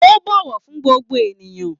O n bọwọ fún gbogbo ènìyàn.